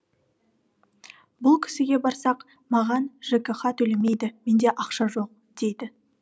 бұл кісіге барсақ маған жкх төлемейді менде ақша жоқ дейді